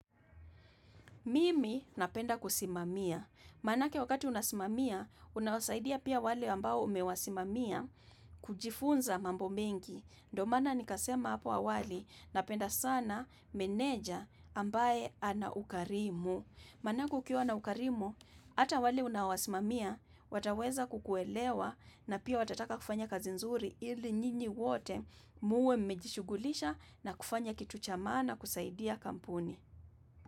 Mimi napenda kusimamia. Manake wakati unasimamia, unawasaidia pia wale ambao umewasimamia kujifunza mambo mingi. Ndo maana nikasema hapo awali napenda sana meneja ambaye ana ukarimu. Manake ukiwa ana ukarimu, hata wale unaowasimamia, wataweza kukuelewa na pia watataka kufanya kazi nzuri ili nyinyi wote muwe mmejishughulisha na kufanya kitu cha maana kusaidia kampuni.